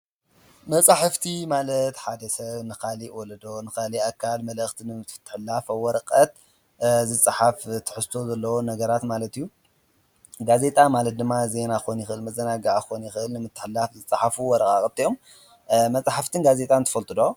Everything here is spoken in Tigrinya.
መጻሕፍቲ ማለት ሓደ ሰብ ንኻሊእ ወለዶ ንኻል ኣካል መለእኽቲን ንምትፍትሕላፍ ኣወረቐት ዝጽሓፍ ትሕስቶ ዘለ ነገራት ማለትዩ ጋዜጣ ማለት ድማ ዘይና ኾኒ ኽል መዘናጋዓ ኾኒ ኽል ምትሕላፍ ዘጽሓፉ ወረቓ ቐትዮም መጽሕፍቲን ጋዜጣን ትፈልጡዶ?